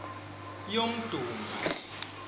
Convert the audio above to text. yomdumba